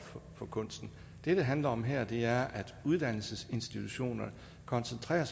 for kunsten det det handler om her er at uddannelsesinstitutionerne koncentrerer